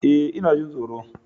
Eh ina jin tsoro.